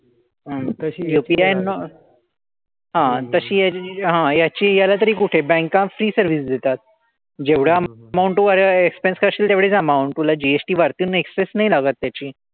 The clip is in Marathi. UPI not हां तशी ह्याची जी हां याची याला तरी कुठे? banks free service देतात. जेवढा amount तू expense करशील तेवढीच amount तुला GST वरतून excess नाही लागत त्याची.